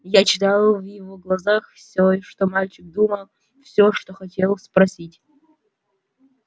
я читал в его глазах всё что мальчик думал всё что хотел спросить